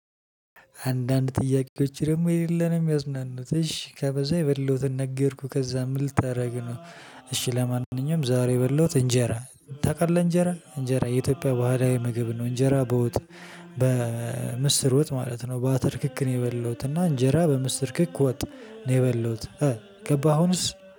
አንዳንድ ጥያቄዎች ደግሞ የሌለን ነው የሚያዝናኑት እሺ ከበዛ የበላሁትን ነገርኩ ከዛ ምን ልታረግ ነው? እሺ ለማንኛውም ዛሬ በበላሁት እንጀራ ታውቃለህ እንጀራ እንጀራ የኢትዮጵያ ባህላዊ ምግብ ነው። እንጀራ በወጥ በምስር ወጥ ማለት ነው። በአተር ክክ ነው የበላሁት እና እንጀራ በምስር ክክ ወጥ ነው የበላሁት። ገባህ አሁንስ